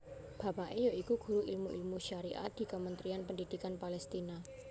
Bapake ya iku guru ilmu ilmu syariat di Kementerian Pendhidhikan Palestina